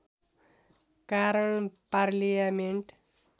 कारण पार्लियामेन्ट